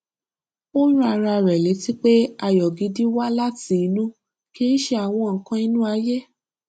ó rán ara rẹ létí pé ayọ gidi wá láti inú kì í ṣe àwọn nnkan inú ayé